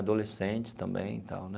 Adolescentes também e tal, né?